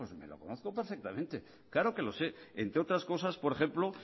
me lo conozco perfectamente claro que lo sé entre otras cosas por ejemplo